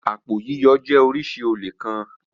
Àpò yíyọ jẹ́ oríṣi olè kan.